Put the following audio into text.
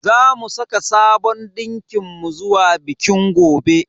Zamu saka sabon dinkin mu zuwa bikin gobe.